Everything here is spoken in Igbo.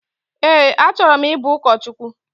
Ee, achọrọ m ibu ụkọchukwu